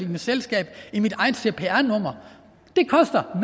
mit selskab i mit eget cpr nummer det koster